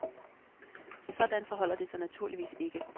Sådan forholder det sig naturligvis ikke.